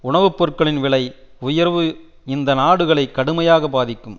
உணவு பொருட்களின் விலை உயர்வு இந்த நாடுகளை கடுமையாக பாதிக்கும்